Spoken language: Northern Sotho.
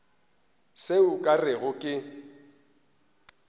se o ka rego ke